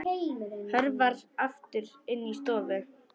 Hörfar aftur inn í stofu.